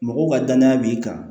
Mɔgɔw ka danaya b'i kan